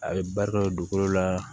A ye barika dugukolo la